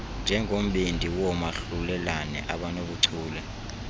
njengombindi woomahlulelane abanobuchule